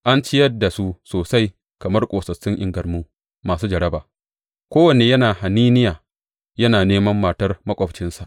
An ciyar da su sosai, kamar ƙosassun ingarmu, masu jaraba, kowanne yana haniniya, yana neman matar maƙwabcinsa.